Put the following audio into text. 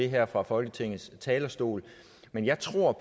her fra folketingets talerstol men jeg tror